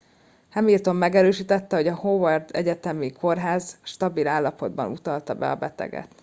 hamilton megerősítette hogy a howard egyetemi kórház stabil állapotban utalta be a beteget